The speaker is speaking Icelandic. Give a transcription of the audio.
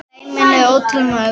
Dæmin eru ótal mörg.